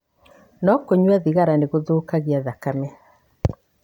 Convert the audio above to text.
No kũnyua thigara nĩ gũthũkagia thakame.